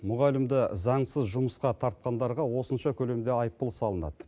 мұғалімді заңсыз жұмысқа тартқандарға осынша көлемде айыппұл салынады